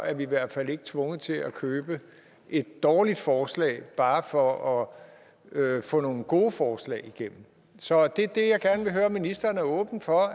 er vi i hvert fald ikke tvunget til at købe et dårligt forslag bare for at få nogle gode forslag igennem så det er det jeg gerne vil høre om ministeren er åben for